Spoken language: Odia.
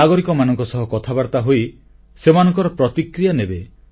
ନାଗରିକମାନଙ୍କ ସହ କଥାବାର୍ତ୍ତା ହୋଇ ସେମାନଙ୍କର ପ୍ରତିକ୍ରିୟା ନେବେ